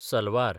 salwar